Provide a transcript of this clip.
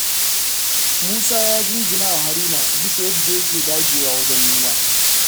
Musa ya jinjinawa Haruna bisa yadda yake dagewa wajen nema.